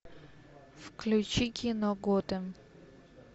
включи кино готэм